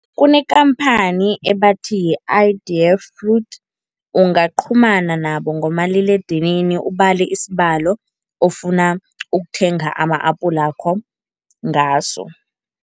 Kunekhamphani ebathi yi-Idea Fruit, ungaqhumana nabo ngomaliledinini ubale isibalo ofuna ukuthenga ama-apulakho ngaso.